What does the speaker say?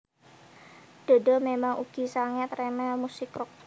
Dodo memang ugi sanget remen musik rock